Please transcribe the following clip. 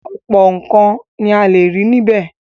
ọ̀pọ̀ nǹkan ni a lè rí níbẹ̀.